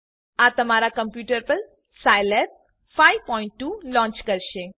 આ તમારા કમ્પ્યુટર પર સાઈલેબ 52 લોંચ કરશે